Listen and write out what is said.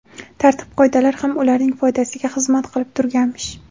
Tartib-qoidalar ham ularning foydasiga xizmat qilib turganmish.